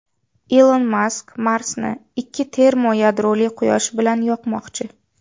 Ilon Mask Marsni ikki termoyadroli quyosh bilan yoqmoqchi.